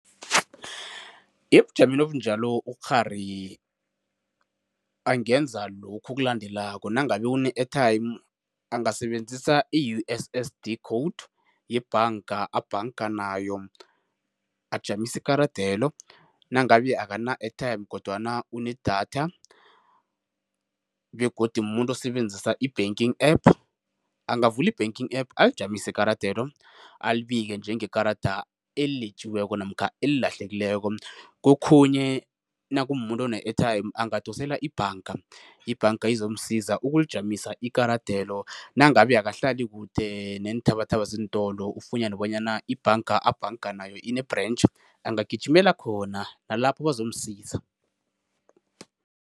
Ebujameni obunjalo ukghari angenza lokhu okulandelako, nangabe une-airtime angasebenzisa i-U_S_S_D code yebhanga abhanga nayo, ajamise ikaradelo nangabe akana-airtime kodwana unedatha begodu mumuntu osebenzisa i-banking app angavula i-banking app alijamise ikaradelo, alibike njengekarada eletjiweko namkha elilahlekileko. Kokhunye nakumumuntu one-airtime angadosela ibhanga, ibhanga izomsiza ukulijamisa ikaradelo nangabe akahlali kude neenthabathaba zeentolo ufunyane bonyana ibhanga abhanga nayo ine-branch, angagijimela khona nalapho bazomsiza.